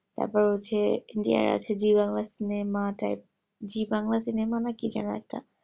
তারপর হচ্ছে India র হচ্ছে zee bangla cinema না কি যেন একটা